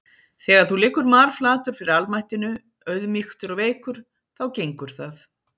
Þegar þú liggur marflatur fyrir almættinu, auðmýktur og veikur, þá gengur það.